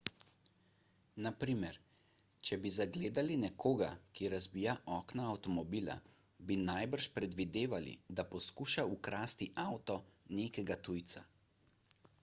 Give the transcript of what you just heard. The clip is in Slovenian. na primer če bi zagledali nekoga ki razbija okno avtomobila bi najbrž predvidevali da poskuša ukrasti avto nekega tujca